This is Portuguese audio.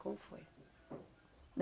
Como foi?